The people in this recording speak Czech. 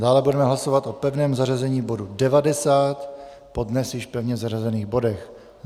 Dále budeme hlasovat o pevném zařazení bodu 90 po dnes již pevně zařazených bodech.